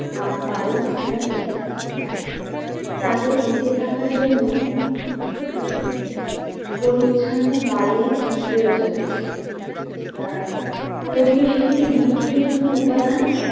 আহ বায়ু ছাড়া বেঁচে থাকতে পারে না। তাদের বেঁচে থাকার জন্য উম পরিছন্ন বায়ুর প্রয়োজন আছে আহ পরিবেশের একটি গুরুত্বপূর্ণ উপাদান